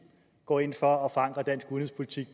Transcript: går ind for at forankre dansk udenrigspolitik